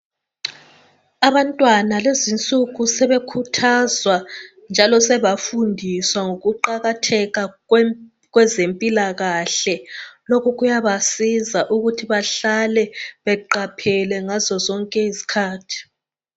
Abantwana lezinsuku sebekhuthazwa njalo sebafundiswa ngokuqakatheka kwezempilakahle. Lokhu kuyabasiza ukuthi bahlale beqaphele ngazo zonke izikhathi.